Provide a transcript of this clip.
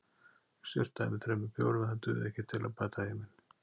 Ég sturtaði í mig þremur bjórum en það dugði ekki til að bæta heiminn.